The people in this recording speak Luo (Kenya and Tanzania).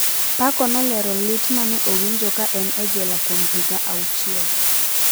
Paco nolero lit ma ne owinjo ka en e jela kuom higa achiel: